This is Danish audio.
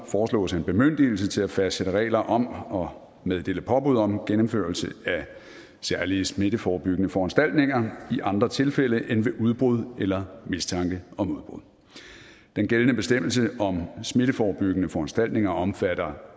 foreslås en bemyndigelse til at fastsætte regler om og meddele påbud om gennemførelse af særlige smitteforebyggende foranstaltninger i andre tilfælde end ved udbrud eller mistanke om udbrud den gældende bestemmelse om smitteforebyggende foranstaltninger omfatter